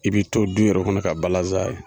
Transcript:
I bɛ to dun yɛrɛ kɔnɔ ka balansan ye.